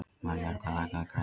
Maríuerla, lækkaðu í græjunum.